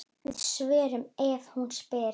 Við svörum ef hún spyr.